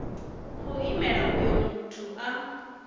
khou imela uyo muthu a